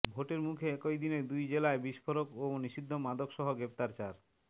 ভোটের মুখে একই দিনে দুই জেলায় বিস্ফোরক ও নিষিদ্ধ মাদক সহ গ্রেফতার চার